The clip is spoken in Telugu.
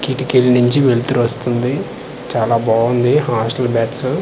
కిటికీల నుంచి వెల్తురు వస్తుంది చాలా బావుంది హాస్టల్ బ్యాట్స్ .